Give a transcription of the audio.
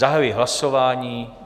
Zahajuji hlasování.